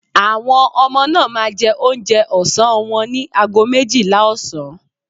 Àwọn ọmọ náà máa jẹ oúnjẹ ọsán wọn ní àgọ́ méjìlá ọ̀sán